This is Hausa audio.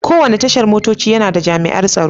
Kowane Tashar motoci yana da jami'an tsaro.